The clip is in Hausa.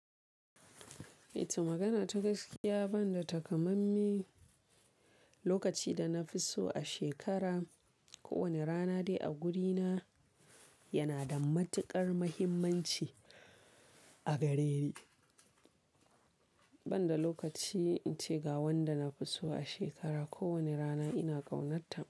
Ita magana ta gaskiya, ban da takamai mai lokaci da na fi so a shekara, kowane rana dai a gurina yana da matuƙar muhimmanci a gare ni. Ban da lokaci in ce ga wanda na fi so a shekara, kowane rana ina ƙaunata.